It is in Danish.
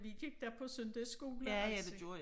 Vi gik da på søndagsskole også